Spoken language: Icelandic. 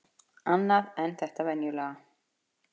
Annað en þetta venjulega.